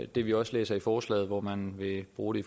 det vi også læser i forslaget hvor man vil bruge det